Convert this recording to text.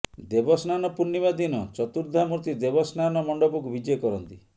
ଦେବସ୍ନାନ ପୂର୍ଣ୍ଣିମା ଦିନ ଚତୁର୍ଦ୍ଧାମୂର୍ତ୍ତି ଦେବସ୍ନାନ ମଣ୍ଡପକୁ ବିଜେ କରନ୍ତି